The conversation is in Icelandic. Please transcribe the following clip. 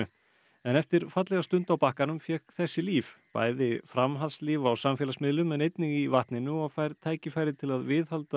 en eftir fallega stund á bakkanum fékk þessi líf bæði framhaldslíf á samfélagsmiðlum en einnig í vatninu og fær tækifæri til að viðhalda